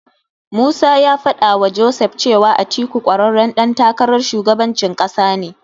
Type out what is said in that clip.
Musa ya faɗawa Joseph cewa Atiku ƙwararren ɗan takarar shugabancin ƙasa ne.